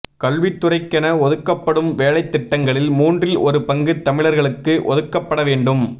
கல்வித்துறைக்கென ஒதுக்கப்படும் வேலைத் திட்டங்களில் மூன்றில் ஒரு பங்கு தமிழர்களுக்கு ஒதுக்கப்பட வேண்டும்